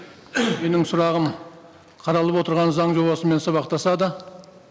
менің сұрағым қаралып отырған заң жобасымен сабақтасады